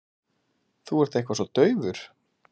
Þú ert eitthvað svo daufur.